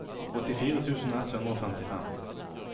åttifire tusen ett hundre og femtifem